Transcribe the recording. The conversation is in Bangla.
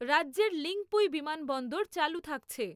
রাজ্যের লিঙপুই বিমানবন্দর চালু থাকছে।